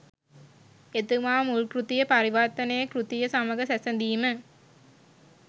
එතුමා මුල් කෘතිය පරිවර්තන කෘතිය සමග සැසඳිම